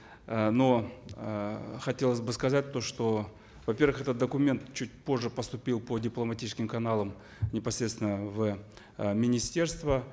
э но эээ хотелось бы сказать то что во первых этот документ чуть позже поступил по дипломатическим каналам непосредственно в э министерство